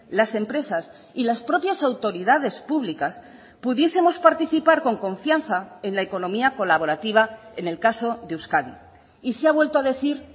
las empresas y las propias autoridades públicas pudiesemos participar con confianza en la economía colaborativa en el caso de euskadi y se ha vuelto a decir